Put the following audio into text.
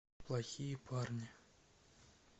плохие парни